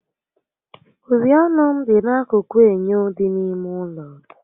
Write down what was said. Uri ọnụ m dị n'akụkụ enyo dị n'ime ụlọ